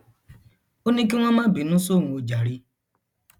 ó ní kí wọn má bínú sóun ó jàre